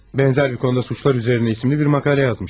Bənzər bir konuda cinayətlər üzərinə ismli bir məqalə yazmışdın.